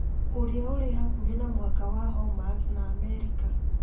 ũrĩa ũrĩ hakuhĩ na mũhaka wa Hormuz, na Amerika